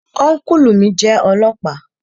Ọ́nkùlù mi jẹ́ ọlọ́ọ̀pá